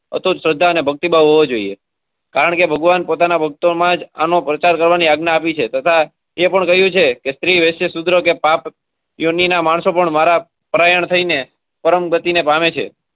અસ્ત્રોત શ્રદ્ધા અને ભક્તિ ભાવ હોવા જોઈએ કારણકે ભગવાન પોતાના ભક્તો માં જ આનો પ્રચાર કરવાની આજ્ઞા આપી છે તથા એ પણ કહ્યું છે કે સ્ત્રી વેતરા સુત્રો કે પાપ યુની ના માણસો પણ મારા પ્રયાણ થઇ ને પરમ ગતિ ને પામે છે.